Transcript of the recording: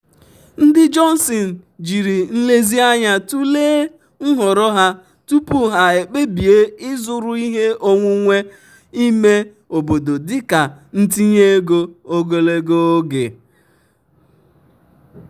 ndị johnson jiri nlezianya tụlee nhọrọ ha tupu ha ekpebie ịzụrụ ihe onwunwe ime obodo dịka ntinye ego ogologo oge.